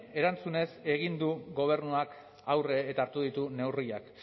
erantzunez egin du gobernuak aurre eta hartu ditu neurriak